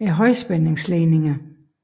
er høj spændings ledninger